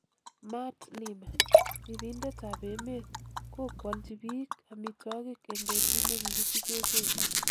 Matt Lima:Riipident tab emet kokwolchi bik omitwo'kik eng betut nekikisicge jeso